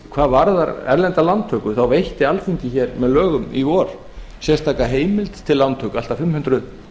hvað varðar erlendar lántökur þá veitti alþingi hér með lögum í vor sérstaka heimild til lántöku allt að fimm hundruð